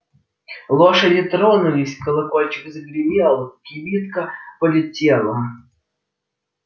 лошади тронулись колокольчик загремел кибитка полетела